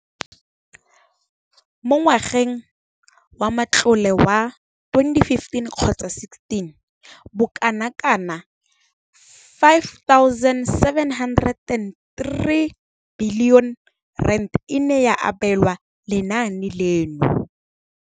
Mo ngwageng wa matlole wa 2015,16, bokanaka R5 703 bilione e ne ya abelwa lenaane leno.